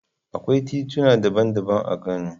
Akwai tituna daban-daban a Kano.